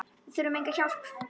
Við þurfum enga hjálp.